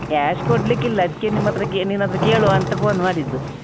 Cash ಕೊಡ್ಲಿಕ್ಕಿಲ್ಲ ಅದ್ಕೇ ನಿಮ್ಹತ್ರ ಕೇ ನಿನ್ಹತ್ರ ಕೇಳುವ ಅಂತ phone ಮಾಡಿದ್ದು.